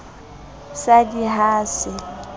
sa d i ha se